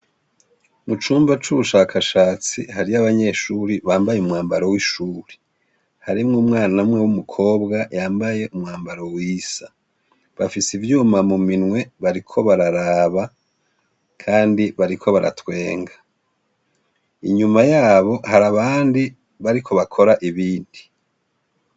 Mu cumba c'ubushakashatsi, hariyo abanyeshure bambaye umwambaro w'ishure; harimwo umwana umwe w'umukobwa yambaye umwambaro wisa; bafise ivyuma mu minwe bariko bararaba kandi bariko baratwenga. Inyuma yabo hari abandi bariko bakora ibindi